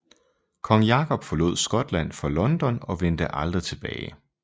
Kong Jakob forlod Skotland for London og vendte aldrig tilbage